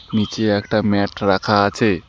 নীচে একটা ম্যাট রাখা আছে।